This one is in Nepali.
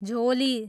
झोली